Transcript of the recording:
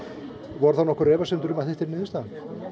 voru nokkrar efasemdir um að þetta yrði niðurstaðan